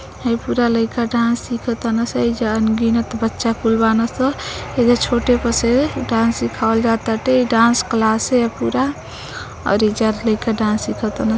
हइ पूरा लइका डांस सीख तन स। एइजा अनगिनत बच्चा कुल बान स। एइजा छोटे प से डांस सिखवाल जाताटे। इ डांस क्लासे ह पूरा और इजा लइका डांस सीखतन --